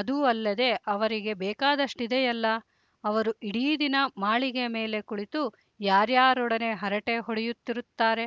ಅದೂ ಅಲ್ಲದೆ ಅವರಿಗೆ ಬೇಕಾದಷ್ಟಿದೆಯಲ್ಲ ಅವರು ಇಡೀ ದಿನ ಮಾಳಿಗೆಯ ಮೇಲೆ ಕುಳಿತು ಯಾರ್ಯಾರೊಡನೆ ಹರಟೆ ಹೊಡೆಯುತ್ತಿರುತ್ತಾರೆ